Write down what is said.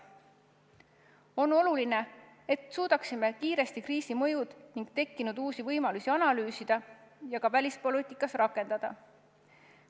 On oluline, et suudaksime kiiresti kriisi mõju ning tekkinud uusi võimalusi analüüsida ja ka välispoliitikas rakendada.